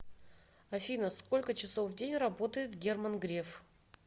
афина сколько часов в день работает герман греф